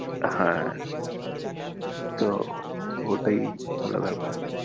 হ্যাঁ তো ওটাই হলো ব্যাপার।